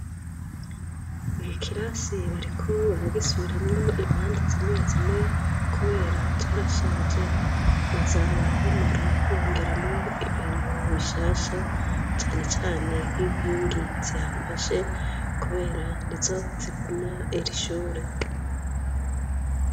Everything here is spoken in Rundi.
Ikikirasi bariko baragisuburamwo impande zimwe zimwe, kubera carashaje, baza barabomora bongeramwo ibintu bishasha cane cane inkingi zihagashe nizo zihagumya irishure.